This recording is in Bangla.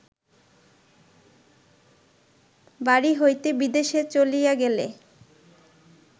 বাড়ি হইতে বিদেশে চলিয়া গেলে